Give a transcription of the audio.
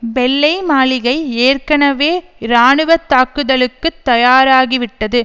வெள்ளை மாளிகை ஏற்கனவே இராணுவ தாக்குதலுக்கு தயாராகிவிட்டது